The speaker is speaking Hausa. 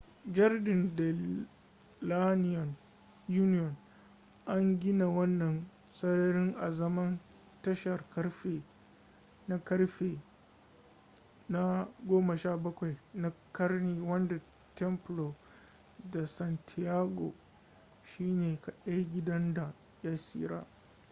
jardín de la unión. an gina wannan sarari azaman tashar ƙarfe na ƙarfe na 17 na ƙarni wanda templo de san diego shine kadai gidan da ya tsira